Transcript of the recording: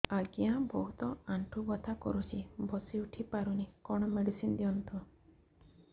ଆଜ୍ଞା ବହୁତ ଆଣ୍ଠୁ ବଥା କରୁଛି ବସି ଉଠି ପାରୁନି କଣ ମେଡ଼ିସିନ ଦିଅନ୍ତୁ